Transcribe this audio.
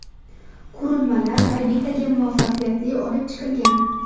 Qurilmalar orbitaga muvaffaqiyatli olib chiqilgan.